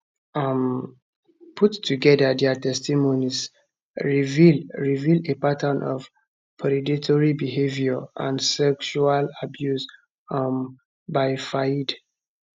um put togeda dia testimonies reveal reveal a pattern of predatory behaviour and sexual abuse um by fayed